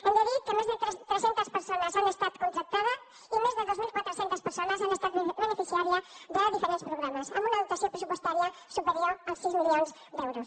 hem de dir que més de tres centes persones han estat contractades i més de dos mil quatre cents persones han estat beneficiàries de diferents programes amb una dotació pressupostària superior als sis milions d’euros